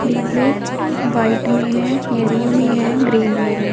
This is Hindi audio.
डिब्बे व्हाईट भी हैं येलो में हैं ग्रीन में हैं।